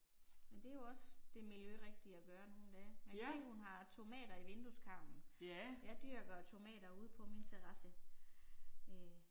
Men det er jo også, det miljørigtige at gøre nu om dage. Jeg kan se hun har tomater i vindueskarmen. Jeg dyrker tomater ude på min terrasse, øh